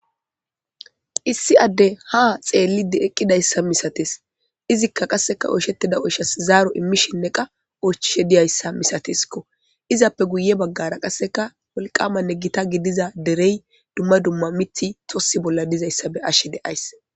Issi adde ha xeellide eqqidayssa misates izikka qasseka oysheti da7oshas zaaro immishinne qa ochishe diyayssa misateskko izappe guye baggara qasseka wolqamanne gita gidiza derey dumma dumma miti tossi bolla dizayssa be ashe deays.